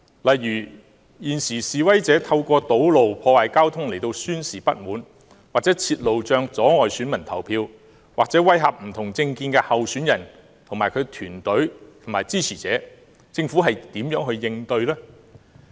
例如，現時示威者透過堵路、破壞交通來宣示不滿，或設路障阻礙選民投票，或威嚇不同政見的候選人、競選團隊及其支持者，政府如何應對呢？